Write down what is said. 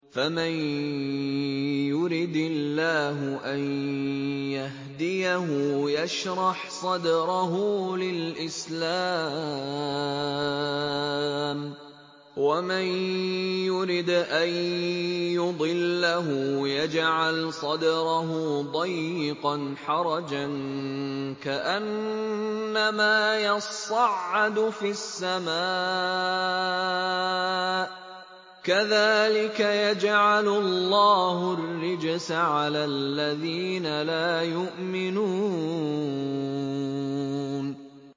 فَمَن يُرِدِ اللَّهُ أَن يَهْدِيَهُ يَشْرَحْ صَدْرَهُ لِلْإِسْلَامِ ۖ وَمَن يُرِدْ أَن يُضِلَّهُ يَجْعَلْ صَدْرَهُ ضَيِّقًا حَرَجًا كَأَنَّمَا يَصَّعَّدُ فِي السَّمَاءِ ۚ كَذَٰلِكَ يَجْعَلُ اللَّهُ الرِّجْسَ عَلَى الَّذِينَ لَا يُؤْمِنُونَ